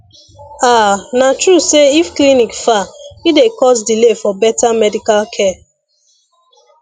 ah na true say if clinic far e dey cause delay for better medical care